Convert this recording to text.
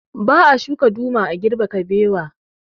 Ba a shuka duma a girbe kabewa